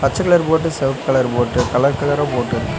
பச்ச கலர் போட்டு செவப்பு கலர் போட்டு கலர் கலரா போட் இருக்கு.